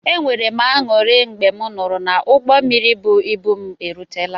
E nwere m añụrị mgbe m nụrụ na ụgbọ mmiri bụ ịbụ m erutela.